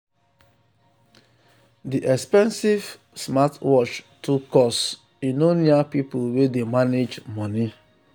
the expensive smartwatch too cost e no near people wey dey manage money.